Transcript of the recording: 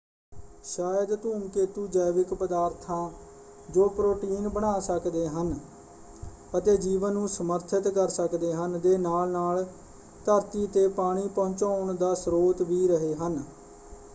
ਸ਼ਾਇਦ ਧੂਮਕੇਤੂ ਜੈਵਿਕ ਪਦਾਰਥਾਂ ਜੋ ਪ੍ਰੋਟੀਨ ਬਣਾ ਸਕਦੇ ਹਨ ਅਤੇ ਜੀਵਨ ਨੂੰ ਸਮਰਥਿਤ ਕਰ ਸਕਦੇ ਹਨ ਦੇ ਨਾਲ ਨਾਲ ਧਰਤੀ ‘ਤੇ ਪਾਣੀ ਪਹੁੰਚਾਉਣ ਦਾ ਸਰੋਤ ਵੀ ਰਹੇ ਹਨ।